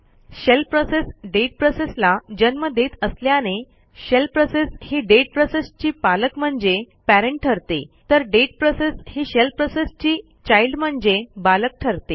shell process date प्रोसेसला जन्म देत असल्याने शेल प्रोसेस ही डेट प्रोसेसची पालक म्हणजे पॅरेंट ठरते तर डेट प्रोसेस ही शेल प्रोसेसची चाइल्ड म्हणजे बालक ठरते